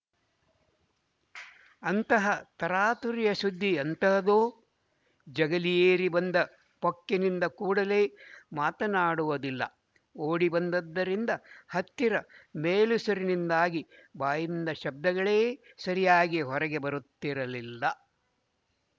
ಅಂತಹ ತರಾತುರಿಯ ಸುದ್ದಿ ಎಂತಹದೋ ಜಗಲಿ ಏರಿ ಬಂದ ಪೊಕ್ಕನಿಂದ ಕೂಡಲೇ ಮಾತನಾಡುವುದಾಗಲಿಲ್ಲ ಓಡಿ ಬಂದದ್ದರಿಂದ ಹತ್ತಿರ ಮೇಲುಸಿರಿನಿಂದಾಗಿ ಬಾಯಿಂದ ಶಬ್ದಗಳೇ ಸರಿಯಾಗಿ ಹೊರಗೆ ಬರುತ್ತಿರಲಿಲ್ಲ